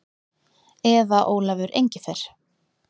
Eða Ólafur Engifer.